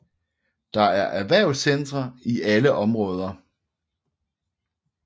Der er erhvervscentre i alle områder